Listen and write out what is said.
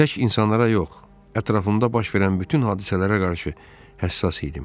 Tək insanlara yox, ətrafımda baş verən bütün hadisələrə qarşı həssas idim.